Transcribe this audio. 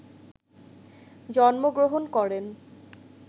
জন্ম গ্রহণ করেন